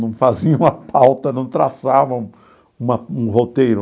Não faziam a pauta, não traçavam uma um roteiro.